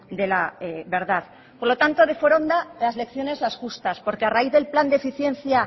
de la verdad por lo tanto de foronda las lecciones las justas porque a raíz del plan de eficiencia